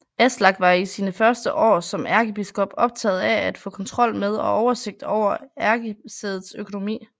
Aslak var i sine første år som ærkebiskop optaget af at få kontrol med og oversigt over ærkesædets økonomi